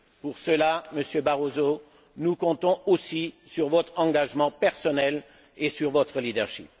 Pour cela, Monsieur Barroso, nous comptons aussi sur votre engagement personnel et sur votre leadership.